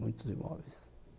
Muitos imóveis.